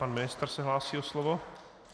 Pan ministr se hlásí o slovo.